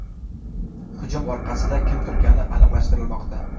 Hujum orqasida kim turgani aniqlashtirilmoqda.